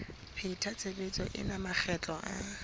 pheta tshebetso ena makgetlo a